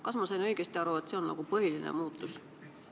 Kas ma sain õigesti aru, et see on põhiline muudatus?